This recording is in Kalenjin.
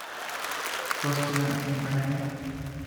Kosteon enpakanet